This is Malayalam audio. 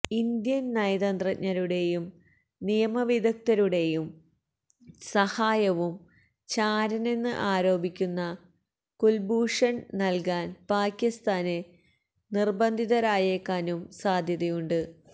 ഇന്ത്യന് നയതന്ത്രജ്ഞരുടെയും നിയമ വിദഗ്ധരുടെയും സഹായവും ചാരനെന്ന് ആരോപിക്കുന്ന കുല്ഭൂഷണ് നല്കാന് പാകിസ്ഥാന് നിര്ബന്ധിതരായേക്കാനും സാധ്യതയുണ്ട്